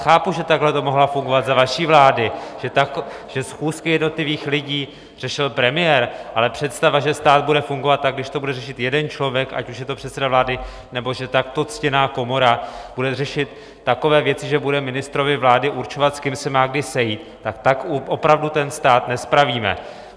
Chápu, že takhle to mohlo fungovat za vaší vlády, že schůzky jednotlivých lidí řešil premiér, ale představa, že stát bude fungovat tak, když to bude řešit jeden člověk, ať už je to předseda vlády, nebo že takto ctěná komora bude řešit takové věci, že bude ministrovi vlády určovat, s kým se má kdy sejít, tak tak opravdu ten stát nespravíme!